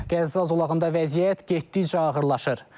Qəzza zolağında vəziyyət getdikcə ağırlaşır.